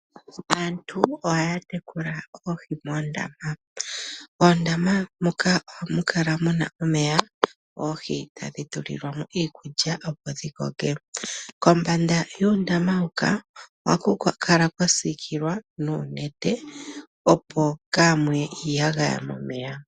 Aantu ohaya tekulwa oohi moondama. Oondama moka ohaku kala muna omeya oohi tadhi tulilwamo iikulya opo dhi kokeke. Kombanda yondama huka ohaku kala kwa siikilwa oonete opo kaamuye iiyagaya momeya.